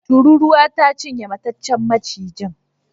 Tururuwa ta cinye mataccen macijin.